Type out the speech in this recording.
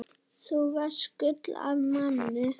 Þú varst gull af manni.